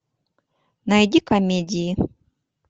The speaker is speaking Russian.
найди комедии